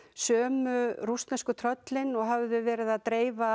sömu rússnesku tröllin og höfðu verið að dreifa